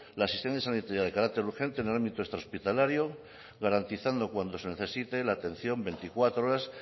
la asistencia sanitaria de carácter urgente en el ámbito extrahospitalario garantizando cuando se necesite la atención veinticuatro horas